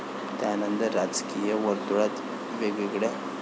त्यानंतर राजकीय वर्तुळात वेगवेगळ्या.